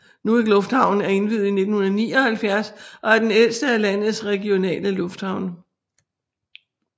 Nuuk lufthavn er indviet i 1979 og er den ældste af landets regionale lufthavne